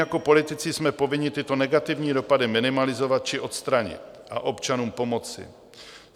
Jako politici jsme povinni tyto negativní dopady minimalizovat či odstranit a občanům pomoci.